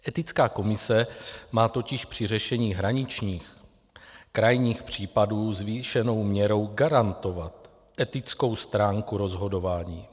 Etická komise má totiž při řešení hraničních a krajních případů zvýšenou měrou garantovat etickou stránku rozhodování.